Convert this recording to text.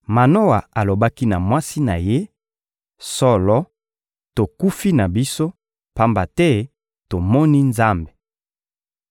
Manoa alobaki na mwasi na ye: — Solo, tokufi na biso, pamba te tomoni Nzambe!